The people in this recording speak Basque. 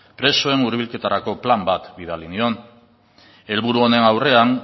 presoen hurbilketarako plan bat bidali nion helburu honen aurrean